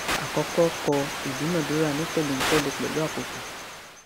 àkọkọ kọ ìdúnadúrà ní tẹléǹtẹlẹ pẹlú àkókò